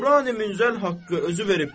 Qurani Münzəl haqqı özü veribdir.